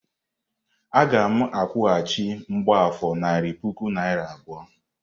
Aga m akwụghachi mgbafor narị puku naịra abụọ.